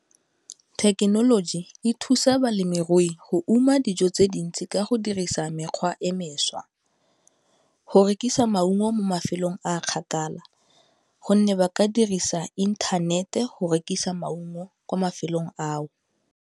Thekenoloji e thusa balemirui go uma dijo tse dintsi ka go dirisa mekgwa e mešwa, go rekisa maungo mo mafelong a kgakala gonne ba ka dirisa inthanete go rekisa maungo kwa mafelong ao.